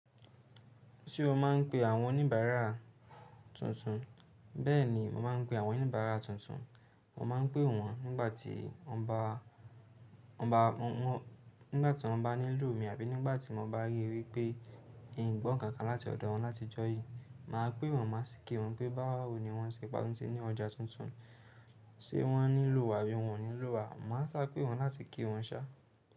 Ṣé o máa ń pe àwọn oníbàárà tuntun? Bẹ́ẹ̀ni, mo máa ń pe àwọn oníbàárà tuntun. Mo máa ń pè wọ́n nigbati won ba nígbà tí wọ́n bá nílò mi àbí nígbà tí mo bá ríi wípé n gbọ́nkàn kan láti ọ̀dọ̀ wọn láti jọ́ yí. Máa pè wọ́n, máa sì ki wọ́n pé báwo ni wọ́n, ṣe pe a tun ti ní ọjà tuntun, ṣe wọ́n nílò wa àbí wọn ò nílò wa. Mo má n sá pè wọ́n láti ki wọ́n sá.